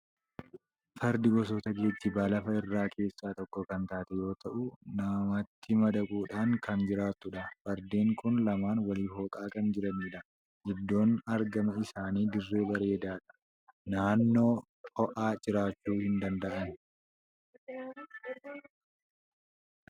Fardi gosoota geejjiba lafa irraa keessaa tokko kan taate yoo ta'u, namatti madaquudhaan kan jiraattudha. Fardeen kun lamaan waliif hooqaa kan jiranidha. Iddoon argama isaanii dirree bareedaadha! Naannoo ho'aa jiraachuu hin danda'an.